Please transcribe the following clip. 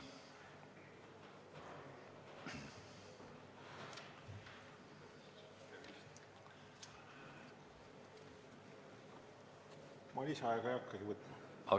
Ma lisaaega ei hakkagi võtma.